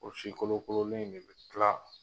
O si kolo kololen de kila